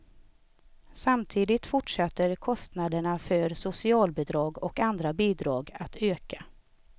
Samtidigt fortsätter kostnaderna för socialbidrag och andra bidrag att öka.